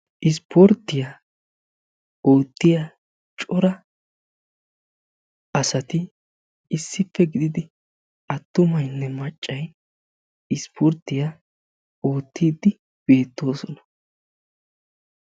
Ispporttiya oottiyaa cora asatti issippe gididi atumaynne maccay ispporttiyaa ootidi beettosonna.